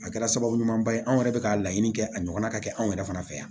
A kɛra sababu ɲumanba ye anw yɛrɛ bɛ ka laɲini kɛ a ɲɔgɔn na ka kɛ anw yɛrɛ fana fɛ yan